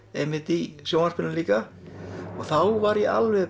í sjónvarpinu líka og þá var ég alveg